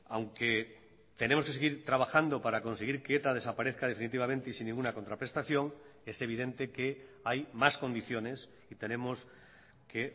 aunque tenemos que seguir trabajando para conseguir que eta desaparezca definitivamente y sin ninguna contraprestación es evidente que hay más condiciones y tenemos que